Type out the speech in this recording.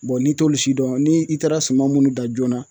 Bɔn n'i t'olu si dɔn ni i taara suma munnu dan joona